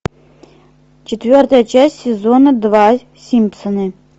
четвертая часть сезона два симпсоны